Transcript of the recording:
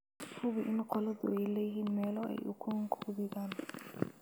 Hubi in qolladu ay leeyihiin meelo ay ukun ku dhigaan.